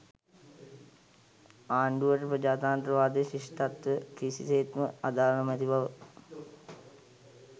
ආණ්ඩුවට ප්‍රජාතන්ත්‍රවාදය ශිෂ්ටත්වය කිසිසේත්ම අදාළ නොමැති බව